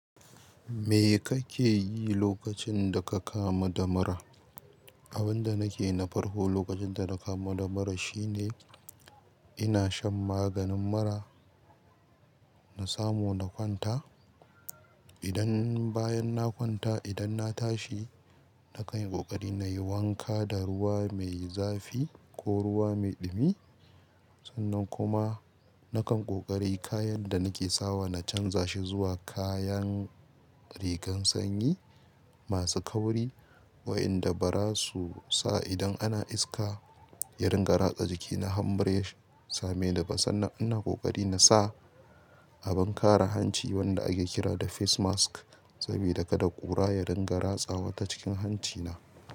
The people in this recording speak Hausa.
Me kake yi lokacin da ka kamu da mura? Abin da nake na farko lokacin da na kamu da mura shine ina shan maganin mura na samu na kwanta. Idan bayan na kwanta idan na tashi, na kan yi ƙoƙari na yi wanka da ruwa mai zafi ko ruwa mai ɗumi. Sannan kuma na kan ƙoƙari kayan da nake sawa na canza shi zuwa kayan rigan sanyi masu kauri waɗanda ba za su sa idan ana iska. Yarinƙa ratsa jikina har in bari ya same ni ba sannan ina ƙoƙari na sa abin kare hanci wanda ake kira da face mask saboda kada ƙura ya dinga ratsawa ta cikin hancina.